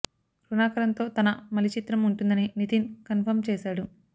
రుణాకరన్తో తన మలి చిత్రం ఉంటుందని నితిన్ కన్ఫర్మ్ చేసాడు